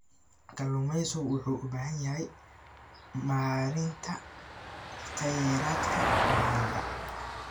Kalluumaysigu wuxuu u baahan yahay maaraynta kheyraadka badda.